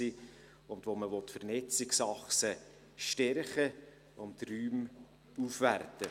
Man will die Vernetzungsachsen stärken und Räume aufwerten.